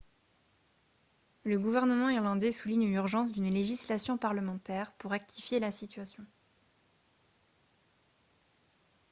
le gouvernement irlandais souligne l'urgence d'une législation parlementaire pour rectifier la situation